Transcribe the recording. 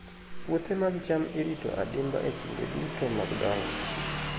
Puothe mag cham irito adimba e kinde duto mag dongo.